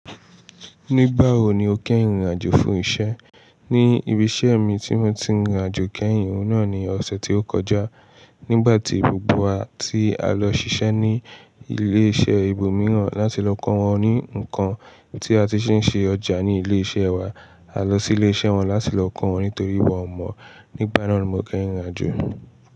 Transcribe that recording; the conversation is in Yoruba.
Nígbà wo ni o kẹ́ ìrìnàjò fún iṣẹ́? Ní ibi iṣẹ́ mi tí mo ti ń rìn rìnàjò kẹ́yìn, òun náà ni ọ̀sẹ̀ tí ó kọjá. Nígbà tí gbogbo wa tí a lọ ṣiṣẹ́ ní ilé iṣẹ́ ibòmíràn láti lọ kọ́ wọn ní nǹkan tí a ti ṣe ń ṣe ọjà ní ilé iṣẹ́ wa. A lọ sí ilé iṣẹ́ wọn láti lọ kọ́ wọn nítorí wọn ò mọ̀. Nígbà náà lo mo kẹ́rìnrìnàjò.